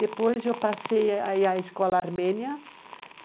Depois, eu passei a ir a escola armênia.